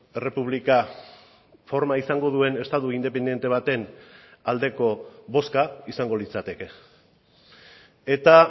errepublika forma izango duen estatu independente baten aldeko bozka izango litzateke eta